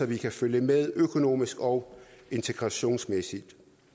vi kan følge med økonomisk og integrationsmæssigt